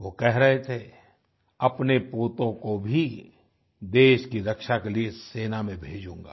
वो कह रहे थे अपने पोतों को भी देश की रक्षा के लिए सेना में भेजूंगा